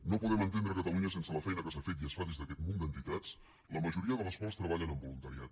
no podem entendre catalunya sense la feina que s’ha fet i es fa des d’aquest munt d’entitats la majoria de les quals treballen amb voluntariat